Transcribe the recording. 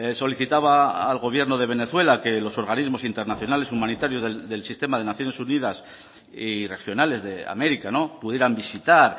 solicitaba al gobierno de venezuela que los organismos internacionales humanitarios del sistema de naciones unidas y regionales de américa pudieran visitar